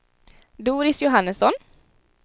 Doris Johannesson